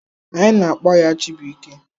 Anyị na-akpọ ya Chibụike.